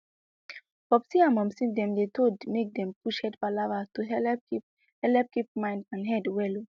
popsi and momsi dem dey told make dem push head palava to helep keep helep keep mind and head well